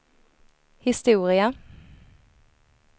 historia